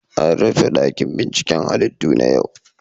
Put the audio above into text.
An rufe dakin binciken halittu na yau.